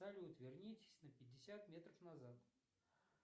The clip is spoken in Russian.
салют вернитесь на пятьдесят метров назад